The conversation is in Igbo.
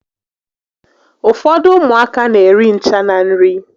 Ụfọdụ ụmụaka n'eri ncha na nri